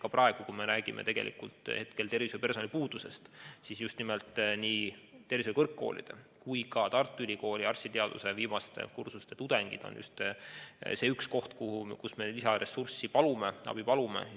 Ka praegu, kui me räägime tervishoiupersonali puudusest, on just nimelt nii tervishoiukõrgkoolide kui ka Tartu Ülikooli arstiteaduskonna viimaste kursuste tudengid need, keda me lisaressursina appi palume.